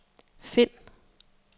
find